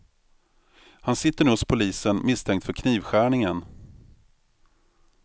Han sitter nu hos polisen misstänkt för knivskärningen.